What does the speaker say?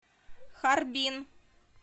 харбин